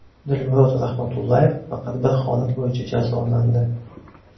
Dilmurod Rahmatullayev faqat bir holat bo‘yicha jazolandi.